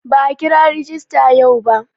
Ba'a kira rajista yau ba.